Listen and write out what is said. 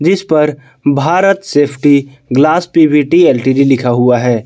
इस पर Bharat safety glass P V T L T D लिखा हुआ है।